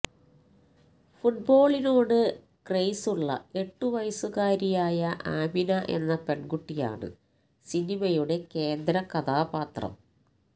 ഫുട്ബോളിനോട് ക്രേസുള്ള എട്ടു വയസ്സുകാരിയായ ആമിന എന്ന പെൺകുട്ടിയാണ് സിനിമയുടെ കേന്ദ്രകഥാപാത്രം